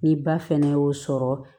Ni ba fɛnɛ y'o sɔrɔ